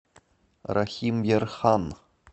рахимъярхан